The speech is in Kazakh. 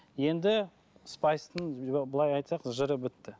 енді спайстың былай айтсақ жыры бітті